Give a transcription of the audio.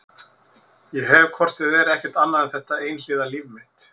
Ég hef hvort eð er ekkert annað en þetta einhliða líf mitt.